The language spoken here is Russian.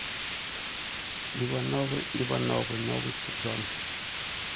ивановы ивановы новый сезон